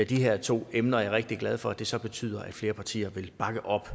de her to emner og jeg er rigtig glad for at det så betyder at flere partier vil bakke op